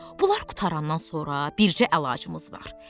Bunlar qurtarandan sonra bircə əlacımız var.